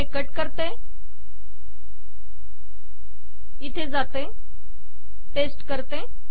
मी हे कट करते येथे जाते पेस्ट करते